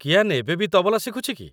କିଆନ୍ ଏବେ ବି ତବଲା ଶିଖୁଛି କି?